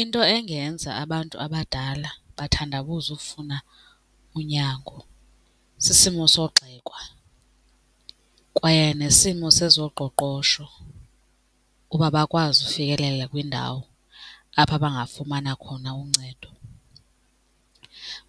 Into engenza abantu abadala bathandabuze ufuna unyango sisimo sogxekwa kwaye nesimo sezoqoqosho uba bakwazi ufikelela kwindawo apho bangafumana khona uncedo.